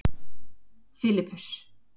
Filippus